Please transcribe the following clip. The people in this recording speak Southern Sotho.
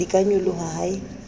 di ka nyoloha ha e